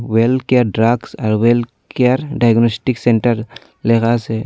Well care drugs আর well care diagnostic centre লেখা আসে।